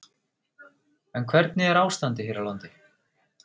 En hvernig er ástandið hér á landi?